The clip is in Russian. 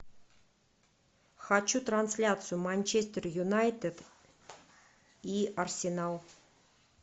хочу трансляцию манчестер юнайтед и арсенал